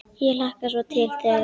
Ég hlakkar svo til þegar.